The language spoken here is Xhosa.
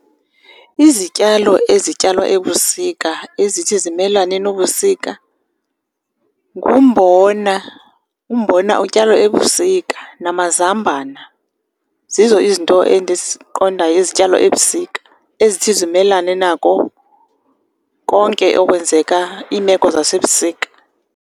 Izityalo ezityalwa ebusika ezithi zimelane nobusika ngumbona, umbona utyalwa ebusika, namazambana. Zizo izinto endiziqondayo ezityalwa ebusika ezithi zimelane nako konke okwenzeka iimeko zasebusika.